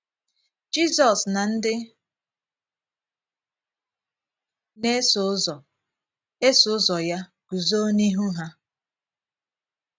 * Jizọs na ndị na - esò ụzọ - esò ụzọ ya gùzò n’ihù ha.